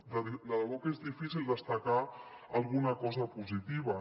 de debò que és difícil destacar ne alguna cosa positiva